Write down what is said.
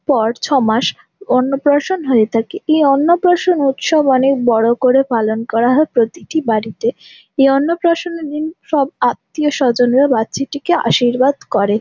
পর ছমাস অন্নপ্রাশন হয়ে থাকে এই অন্নপ্রাশন উৎসব অনেক বড় করে পালন করা হয় প্রতিটি বাড়িতে এই অন্নপ্রাশনের দিন সব আত্মীয় স্বজনরা বাচ্চাটিকে আশীর্বাদ করে ।